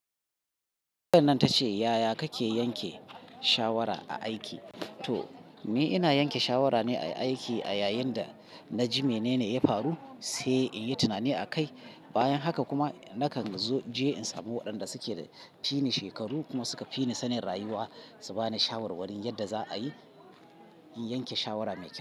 Bayannan tace yaya kake yanke shawara a aiki? To, ni ina yanke shawara ne a aiki a yayin da na ji menene ya faru, sai in yi tunani a kai. Bayan haka kuma nakan zo in je in samu waɗanda suke da fini shekaru kuma suka fi ni sanin rayuwa su ba ni shawarwarin yadda za a yi in yanke shawara mai kyau.